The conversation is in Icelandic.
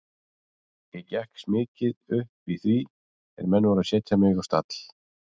Ég gekkst mikið upp í því er menn voru að setja mig á stall.